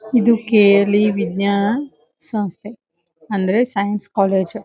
ಎದು ಕೆ.ಎಲ್.ಇ ವಿಜ್ಞಾನ ಸಂಸ್ಥೆ ಅಂದ್ರೆ ಸೈನ್ಸ್ ಕಾಲೇಜ್ .